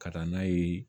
Ka taa n'a ye